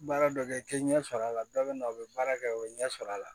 Baara dɔ kɛ k'i ɲɛ sɔrɔ a la dɔ bɛ na u bɛ baara kɛ u bɛ ɲɛ sɔrɔ a la